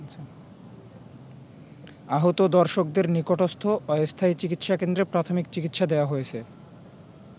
আহত দর্শকদের নিকটস্থ অস্থায়ী চিকিৎসা কেন্দ্রে প্রাথমিক চিকিৎসা দেয়া হয়েছে।